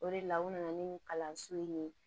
O de la u nana ni nin kalanso in ye